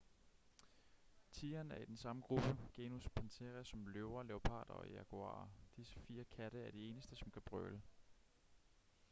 tigeren er i den samme gruppe genus panthera som løver leoparder og jaguarer. disse fire katte er de eneste som kan brøle